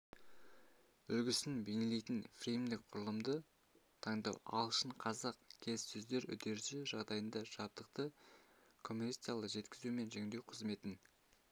үлгісін бейнелейтін фреймдік құрылымды таңдау ағылшын-қазақ келіссөздер үдерісі жағдайында жабдықты коммерциялық жеткізу мен жөндеу қызметін